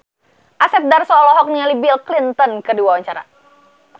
Asep Darso olohok ningali Bill Clinton keur diwawancara